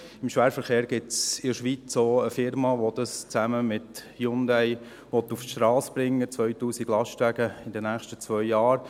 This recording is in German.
Im Schwerverkehr gibt es in der Schweiz auch eine Unternehmung, die das zusammen mit Hyundai auf die Strasse bringen will, 2000 Lastwagen in den nächsten zwei Jahren.